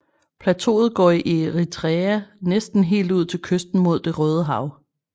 Plateauet går i Eritrea næsten helt ud til kysten mod Det Røde Hav